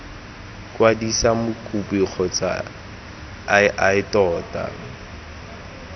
kwadisa mokopi kgotsa ii tona